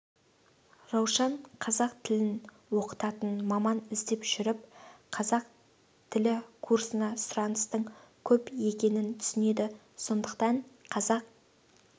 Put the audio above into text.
раушан қазақ тілін оқытатын маман іздеп жүріп қазақ тілі курсына сұраныстың көп екенін түсінеді сондықтан қазақ